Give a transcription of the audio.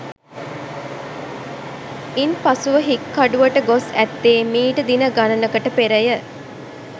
ඉන්පසුව හික්කඩුවට ගොස් ඇත්තේ මීට දින ගණනකට පෙරය